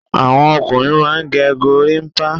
Àwọn ọkùnrin a máa gẹ́ gòrìmpa.